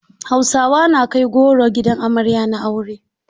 Hausawa na kai goro gidan amarya na aure.